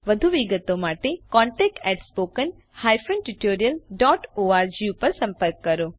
વધુ વિગતો માટે contactspoken tutorialorg પર સંપર્ક કરો